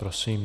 Prosím.